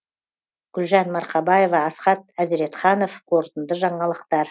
гүлжан марқабаева асхат әзіретханов қорытынды жаңалықтар